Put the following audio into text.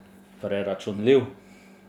Preračunljiv!